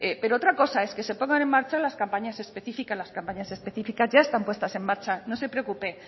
pero otra cosa es que se pongan en marcha las campañas específicas las campañas específicas ya están puestas en marcha no se preocupe